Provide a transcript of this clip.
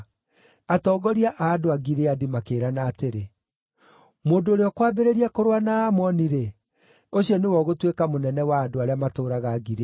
Atongoria a andũ a Gileadi makĩĩrana atĩrĩ, “Mũndũ ũrĩa ũkwambĩrĩria kũrũa na Aamoni-rĩ, ũcio nĩwe ũgũtuĩka mũnene wa andũ arĩa matũũraga Gileadi.”